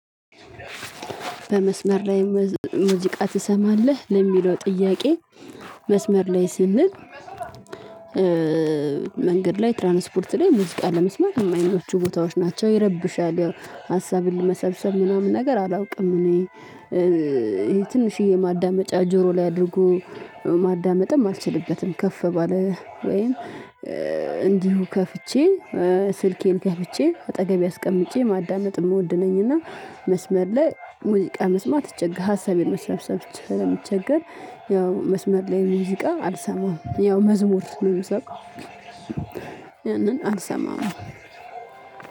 በመስመር ላይ ሙዚቃ ትሰማለህ ለሚለው ጥያቄ? መስመር ላይ ስንል መንገድ ላይ ትራንስፖርት ላይ ሙዚቃ ለመስማት የማይመቹ ቦታዎች ናቸው ይረብሻል። ያው ሀሳብን ለመሰብሰብ ምናምን ነገር አላውቅም። እኔ ትንሽዬ ማዳመጫ ጆሮ ላይ አድርጎ ማዳመጥም አልችልበትም። ከፍ ባለ ወይም እንዲሁ ከፍቼ ስልኬን ከፍቼ አጠገቤ አስቀምጬ ማዳመጥ የምወድ ነኝና። መስመር ላይ ሙዚቃ መስማት እቸገራለሁ ሀሳብ የመሰብሰብ ስለምቸገር። ያው መስመር ላይ ሙዚቃ አልሰማም ያው መዝሙር ነው የምሰማ። ያንን አልሰማም።